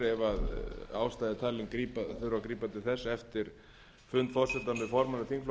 er ástæða er talin þurfa að grípa til þess eftir fund forseta með formönnum þingflokka á